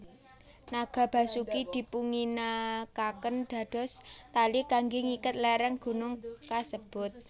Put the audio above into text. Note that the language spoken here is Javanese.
Naga Basuki dipunginakaken dados tali kangge ngiket léréng gunung kasebut